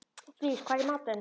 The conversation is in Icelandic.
Dís, hvað er í matinn?